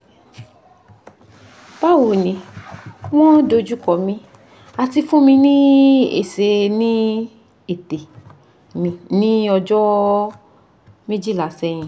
bawo ni won dojukomi ati fun mi ni ese ni ete ni ojo mejila sehin